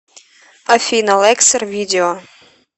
афина лексер видео